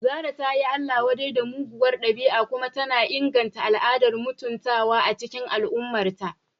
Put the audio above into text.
Zarah ta yi Allah-wadai da muguwar dabi'a kuma tana inganta al'adar mutuntawa a cikin al'ummarta.